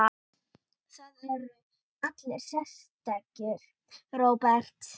Það eru allir sérstakir, Róbert.